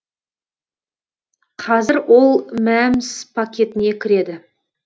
қазір ол мәмс пакетіне кіреді